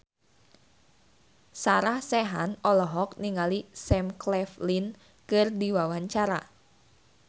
Sarah Sechan olohok ningali Sam Claflin keur diwawancara